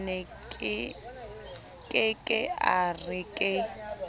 ke ke a re ke